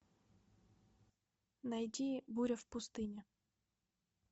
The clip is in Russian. найди буря в пустыне